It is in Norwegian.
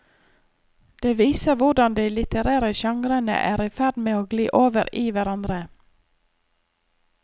Det viser hvordan de litterære genrene er i ferd med å gli over i hverandre.